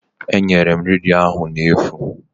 Enyere m redio ahụ n'efu